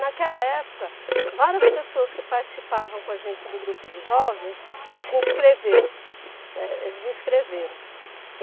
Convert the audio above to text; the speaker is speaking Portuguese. Naquela época, várias pessoas que participavam com a gente do grupo de jovens se inscreveu, né eles inscreveram.